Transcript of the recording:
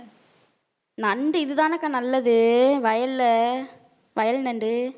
நண்டு இதுதானக்கா நல்லது வயல்ல வயல் நண்டு